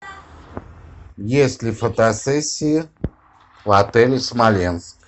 есть ли фотосессии в отеле смоленск